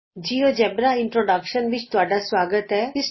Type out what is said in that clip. ਨਮਸਕਾਰ ਸਾਥੀਓ GeoGebra introduction tutorial ਵਿਚ ਸੁਆਗਤ ਹੈ